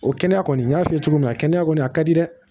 O kɛnɛya kɔni n y'a f'i ye cogo min na kɛnɛya kɔni a ka di dɛ